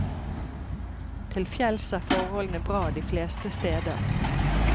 Til fjells er forholdene bra de fleste steder.